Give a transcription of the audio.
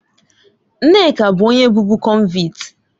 Nneka bụ onye bụbu kọnvịtị